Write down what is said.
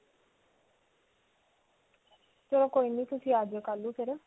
ਚਲੋ ਕੋਈ ਨਹੀਂ ਤੁਸੀਂ ਆ ਜੀਓ ਕਲ੍ਹ ਨੂੰ ਫਿਰ.